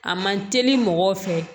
A man teli mɔgɔw fɛ